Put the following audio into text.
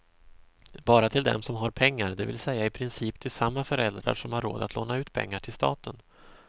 Bara till dem som har pengar, det vill säga i princip till samma föräldrar som har råd att låna ut pengar till staten.